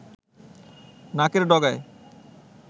নাকের ডগায়